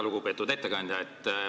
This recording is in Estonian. Väga lugupeetud ettekandja!